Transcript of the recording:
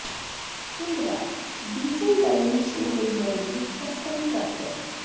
tundra diesel daily show ਲਈ ਬਣੀ ਇੱਕ ਕਸਟਮ ਟਰੱਕ ਹੈ